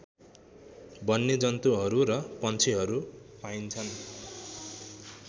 वन्यजन्तुहरू र पन्छीहरू पाइन्छन्